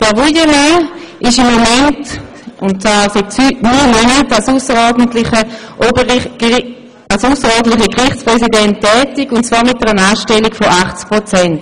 Herr Wuillemin ist seit neun Monaten als ausserordentlicher Gerichtspräsident tätig mit einer Anstellung von 80 Prozent.